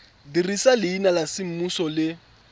dirisa leina la semmuso le